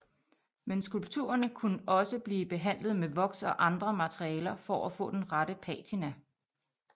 Men skulpturerne kunne også blive behandlet med voks og andre materialer for at få den rette patina